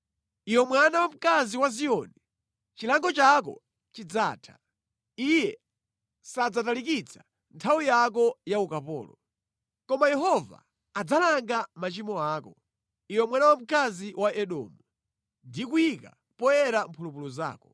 Iwe mwana wamkazi wa Ziyoni, chilango chako chidzatha; Iye sadzatalikitsa nthawi yako ya ukapolo. Koma Yehova adzalanga machimo ako, iwe mwana wamkazi wa Edomu, ndi kuyika poyera mphulupulu zako.